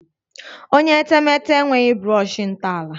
Onye etemeete enweghi brọshị ntọala